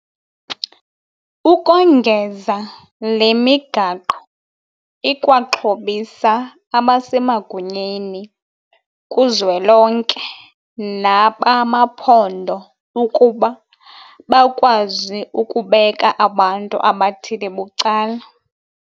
Ukongeza le migaqo ikwaxhobisa abasemagunyeni kuzwelonke nabamaphondo ukuba bakwazi ukubeka abantu abathile bucala.